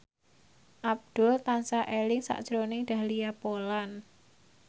Abdul tansah eling sakjroning Dahlia Poland